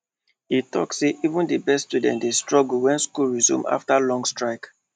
e talk say even the best students dey struggle when school resume after long strike